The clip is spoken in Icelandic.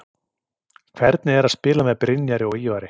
Hvernig er að spila með Brynjari og Ívari?